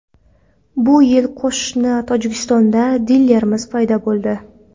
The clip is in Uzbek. Bu yil qo‘shni Tojikistonda dilerimiz paydo bo‘ldi.